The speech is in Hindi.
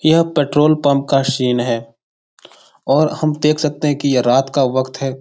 यह पेट्रोल पम्प का शीन है और हम देख सकते हैं की ये रात का वक़्त है।